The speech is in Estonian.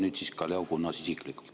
Nüüd siis ka Leo Kunnas isiklikult.